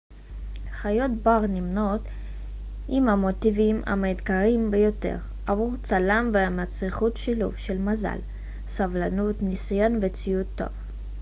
חיות בר נמנות עם ההמוטיבים המאתגרים ביותר עבור צלם ומצריכות שילוב של מזל סבלנות ניסיון וציוד טוב